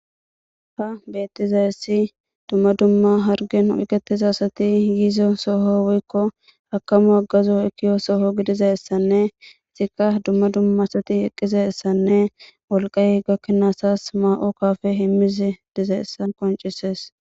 ha beettizayessi dumma dumma hargen oyketiza asati yiizo soho woykko akamo aggazo ekiyo soho gidizayssanne izikka dumma dumma asati eqqizaessanne wolqay gakkenaasas maa7o kafe himmize dizaessa qoncisees